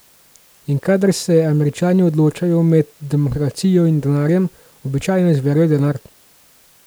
In kadar se Američani odločajo med demokracijo in denarjem, običajno izberejo denar.